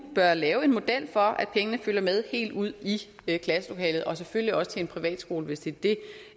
bør lave en model for at pengene følger med helt ud i klasselokalet og selvfølgelig også til en privatskole hvis det det